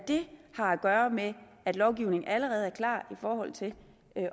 det har at gøre med at lovgivningen allerede er klar i forhold til